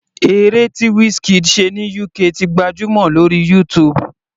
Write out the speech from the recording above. Eré tí Wizkid ṣe ní UK ti gbajúmọ̀ lórí YouTube.